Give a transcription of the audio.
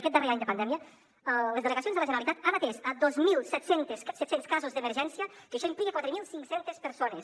aquest darrer any de pandèmia les delegacions de la generalitat han atès dos mil set cents casos d’emergència que això implica quatre mil cinc cents persones